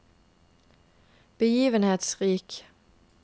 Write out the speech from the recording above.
begivenhetsrik